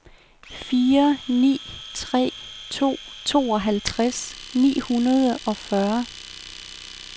fire ni tre to tooghalvtreds ni hundrede og fyrre